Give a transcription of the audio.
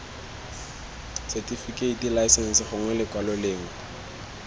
setifikeiti laesense gongwe lekwalo lengwe